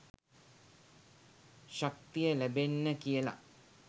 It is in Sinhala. ශක්තිය ලැබෙන්න කියල.